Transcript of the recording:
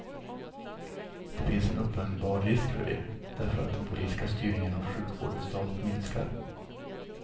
Det finns en uppenbar risk för det, därför att den politiska styrningen av sjukvården stadigt minskar.